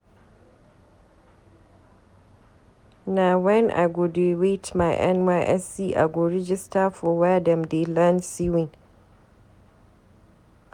Na wen I go dey wait my NYSC I go register for were dem dey learn sewing.